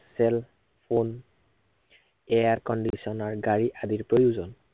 cell phone air conditioner গাড়ীৰ আদি প্ৰয়োজন